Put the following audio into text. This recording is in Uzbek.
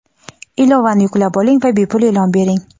Ilovani yuklab oling va bepul e’lon bering!.